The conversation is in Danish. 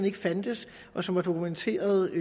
ikke fandtes og som var dokumenteret